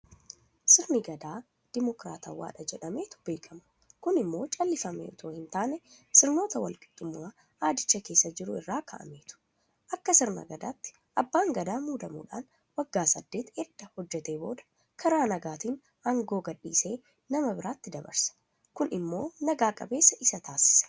Sirni Gadaa Dimokraatawaadha jedhameetu beekama. Kun immoo callifamee itoo hintaane sirnoota walqixxummaa aadicha keessa jiru irraa ka'ameetu. Akka sirna Gadaatti abbaan gadaa muudamuudhaan waggaa saddeet edda hojjetee booda karaa nagaatiin aangoo gadhiisee nama biraatti dabarsa. Kun immoo naga qabeessas isa taasisa.